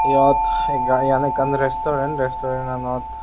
eyot gai eyan ekkan resturen resturenanot.